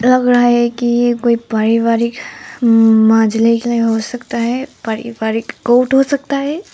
लग रहा है कि ये कोई पारिवारिक माजलिक लिए हो सकता है पारिवारिक कोर्ट हो सकता है।